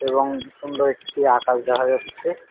রং সুন্দর একটি আকাশ দেখা যাচ্ছে।